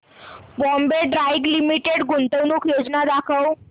Bombay dyeing limited गुंतवणूक योजना दाखव